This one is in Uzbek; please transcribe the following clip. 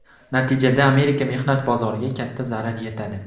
Natijada Amerika mehnat bozoriga katta zarar yetadi.